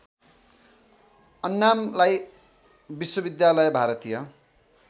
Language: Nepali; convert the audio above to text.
अन्नामलई विश्वविद्यालय भारतीय